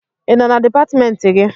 Ị nọ na dipatịmentị gị?